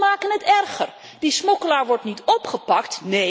Of we maken het erger die smokkelaar wordt niet opgepakt.